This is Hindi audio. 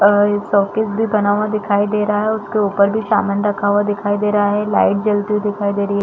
और ये सोकेस भी बना हुआ दिखाई दे रहा है उसके उपर भी सामान रखा हुआ दिखाई दे रहा है लाइट जलती हुई दिखाई दे रही है।